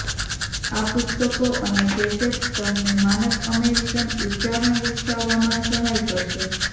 આ પુસ્તકો અને કેસેટ્સ તમને માનક અમેરિકન ઉચ્ચારણ વિકસાવવામાં સહાય કરશે